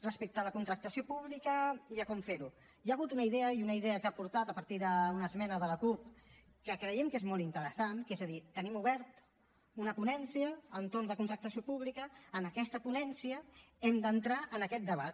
respecte a la contractació pública i a com fer ho hi ha hagut una idea una idea que s’ha aportat a partir d’una esmena de la cup que creiem que és molt interessant és a dir tenim oberta una ponència entorn de contractació pública i en aquesta ponència hem d’entrar en aquest debat